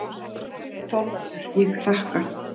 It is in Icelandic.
ÞORVALDUR: Ég þakka.